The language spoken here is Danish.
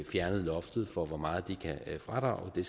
fjernet loftet for hvor meget de kan fradrage men